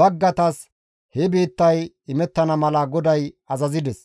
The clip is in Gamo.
baggaytas he biittay imettana mala GODAY azazides.